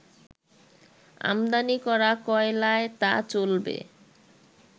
আমদানি করা কয়লায় তা চলবে